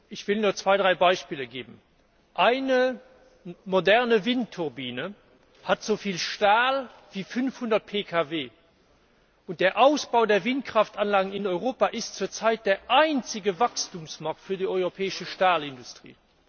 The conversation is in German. Ich will nur zwei, drei Beispiele geben. Eine moderne Windturbine hat so viel Stahl wie 500 Pkw, und der Ausbau der Windkraftanlagen in Europa ist zurzeit der einzige Wachstumsmarkt für die europäische Stahlindustrie.